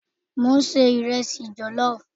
Mo n se iresi jellof